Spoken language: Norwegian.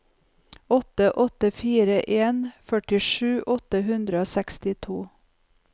åtte åtte fire en førtisju åtte hundre og sekstito